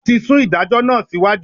Wọ́n ti sún ìdájọ́ náà sí iwájú.